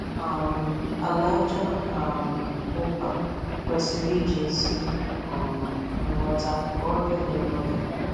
um Ala aja um ụpa kwesiri iji ezi um nghọta kọọ ya ihe n'oge.